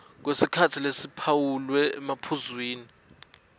kwesikhatsi lesiphawulwe ephuzwini